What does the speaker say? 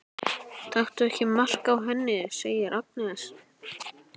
Taktu ekki mark á henni, segir Agnes.